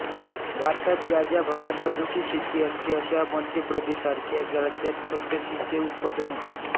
भारतात ज्या ज्या भागात अफूची शेती असते अशा मध्य प्रदेशासारख्या राज्यांत खसखशीचे उत्पादन होते